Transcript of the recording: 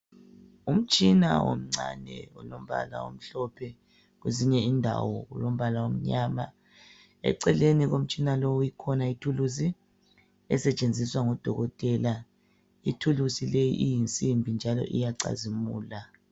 Umtshina omncane olombala omhlophe, kwezinye indawo olombala omnyama, eceleni komtshina lowo ikhona ithuluzi esetshenziswa ngudokotela. Ithuluzi le iyinsimbi njalo iyacazimula.